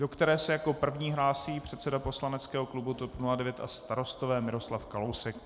Do té se jako první hlásí předseda poslaneckého klubu TOP 09 a Starostové Miroslav Kalousek.